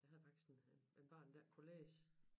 Jeg havde faktisk et barn der ikke kunne læse